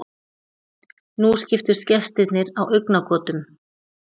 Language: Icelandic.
Nú skiptust gestirnir á augnagotum.